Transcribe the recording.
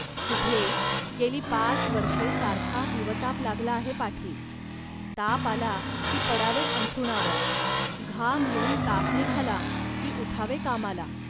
सुभ्ये, गेली पाच वर्षे सारखा हिवताप लागला आहे पाठीस. ताप आला, की पडावे अंथरुणावर, घाम येऊन ताप निघाला, की उठावे कामाला